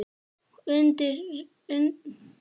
Og undir rita eigin hendi